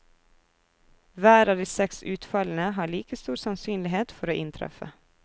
Hver av de seks utfallene har like stor sannsynlighet for å inntreffe.